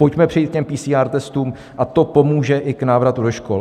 Pojďme přejít k PCR testům a to pomůže i k návratu do škol.